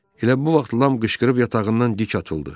Elə bu vaxt Lam qışqırıb yatağından dik açıldı.